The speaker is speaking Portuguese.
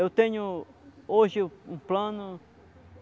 Eu tenho, hoje, um plano.